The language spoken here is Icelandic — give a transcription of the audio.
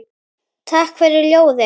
Takk fyrir ljóðin.